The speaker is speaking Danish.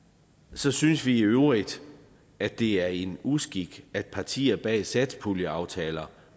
så synes vi i øvrigt at det er en uskik at partierne bag satspuljeaftaler